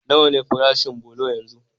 Nawa ne farashin bulo yanzu?